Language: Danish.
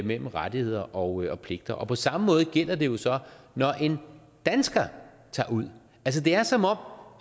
mellem rettigheder og pligter og på samme måde gælder det jo så når en dansker tager ud altså det er som om